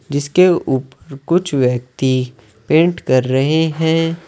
जिसके ऊपर कुछ व्यक्ति पेंट कर रहे है।